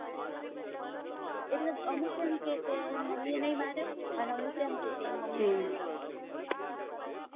એટલે અમુક એમ કે કે એની મમ્મી એ નહિ માર્યો ને અમુક એમ કે કે મમ્મી માર્યો